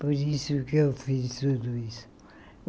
Por isso que eu fiz tudo isso.